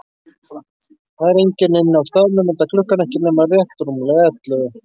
Það er enginn inni á staðnum, enda klukkan ekki nema rétt rúmlega ellefu.